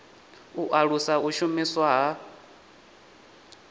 u alusa u shumiswa ha